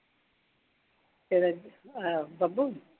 ਅਹ Babbu?